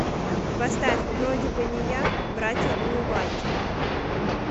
поставь вроде бы не я братья улыбайте